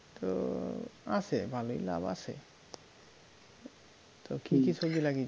তো আসে ভালোই লাভ আসে তো কী কী সবজি লাগিয়েছো?